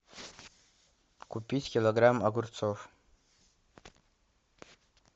купить килограмм огурцов